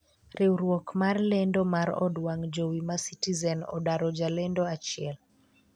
riwruok mar lendo mar od wang' jowi ma citizen odaro jalendo achiel